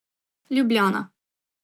Ljubljana.